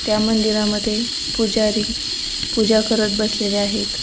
त्या मंदिरामध्ये पुजारी पूजा करत बसलेले आहेत.